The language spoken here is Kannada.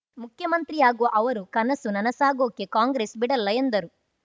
ಮುಖ್ಯಮಂತ್ರಿಯಾಗುವ ಅವರ ಕನಸು ನನಸಾಗಿಸೋಕೆ ಕಾಂಗ್ರೆಸ್‌ ಬಿಡಲ್ಲ ಎಂದರು